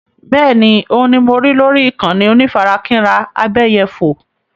Bẹ́ẹ̀ni, òun ni mo rí lórí ìkànnì onífarakínra abẹ́yẹfò.